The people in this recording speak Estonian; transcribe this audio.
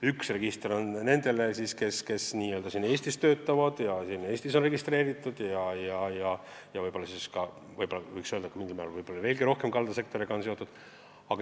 Üks register on nendele, kes siin Eestis töötavad ja on Eestis registreeritud ja mingil määral on kaldasektoriga rohkem seotud.